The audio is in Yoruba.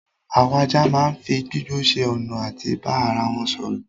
Àwọn ajá máa n fí gbígbó ṣe ọna àti bá ara wọn sọrọ